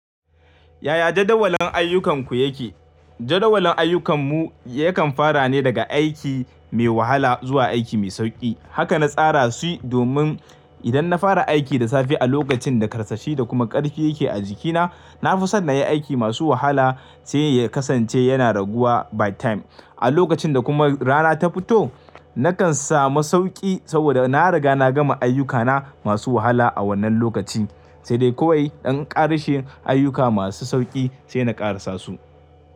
Yaya jadawalin ayyukanku yake? Jadawalin ayyukan mu yakan fara ne daga aiki mai wahala zuwa aiki mai sauƙi. Haka na tsara su domin idan na fara aiki da safe a lokacin da ƙarsashi da kuma ƙarfi yake a jikina, na fi son na yi aiki masu wahala sai ya kasance yana raguwa by time. A lokacin da kuma rana ta fito, nakan samu sauƙi saboda na riga na gama ayyukana masu wahala a wannan lokaci, sai dai kawai in ƙarashe ayyuka masu sauƙi sai na ƙarasa su.